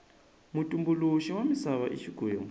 mutumbuluxi wa misava i xikwembu